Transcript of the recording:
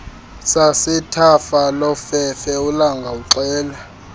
sasethafalofefe ulanga uxela